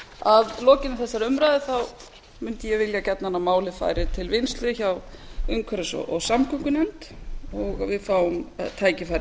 að lokinni þessari umræðu mundi ég gjarnan vilja að málið færi til vinnslu hjá umhverfis og samgöngunefnd og við fáum tækifæri